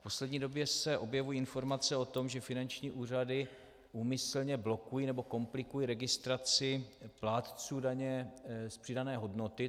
V poslední době se objevují informace o tom, že finanční úřady úmyslně blokují nebo komplikují registraci plátců daně z přidané hodnoty.